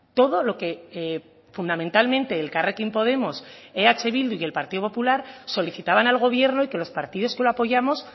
todo lo que fundamentalmente elkarrekin podemos eh bildu y el partido popular solicitaban al gobierno y que los partidos que lo apoyamos